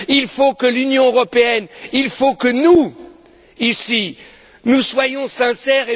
Il faut que l'Union européenne, que nous, ici, nous soyons sincères.